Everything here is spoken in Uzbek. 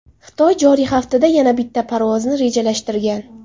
Xitoy joriy haftada yana bitta parvozni rejalashtirgan.